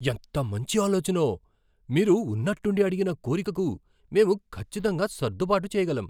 ఎంత మంచి ఆలోచనో! మీరు ఉన్నట్టుండి అడిగిన కోరికకు మేము ఖచ్చితంగా సర్దుబాటు చేయగలం.